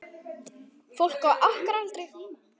Fólk á okkar aldri.